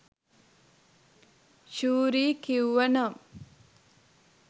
ශූරි කිව්වනම්